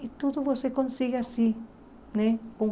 E tudo você consegue assim né, com